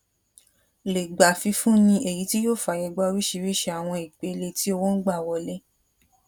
lè gbà fifúnni èyí tí yóò fàyègba oríṣiríṣi àwọn ìpele tí owo n gbà wọlé